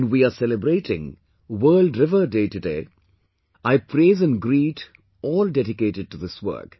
when we are celebrating 'World River Day' today, I praise and greet all dedicated to this work